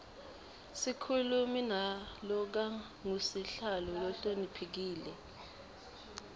sikhulumi nalokangusihlalo lohloniphekile